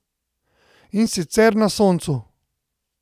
In sicer na soncu.